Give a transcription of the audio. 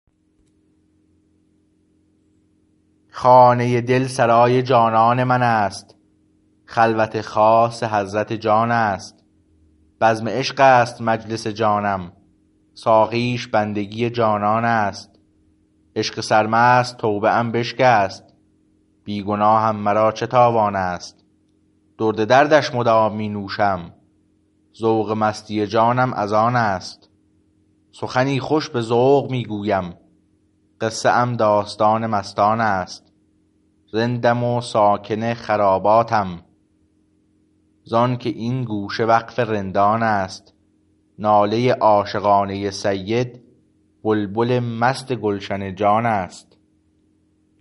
خانه دل سرای جانان من است خلوت خاص حضرت جان است بزم عشق است مجلس جانم ساقیش بندگی جانان است عشق سر مست توبه ام بشکست بی گناهم مرا چه تاوان است درد دردش مدام می نوشم ذوق مستی جانم از آن است سخنی خوش به ذوق می گویم قصه ام داستان مستان است رندم و ساکن خراباتم زانکه این گوشه وقف رندان است ناله عاشقانه سید بلبل مست گلشن جان است